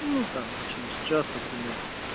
ну там через час например